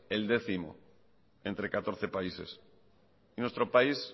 el décimo entre catorce países nuestro país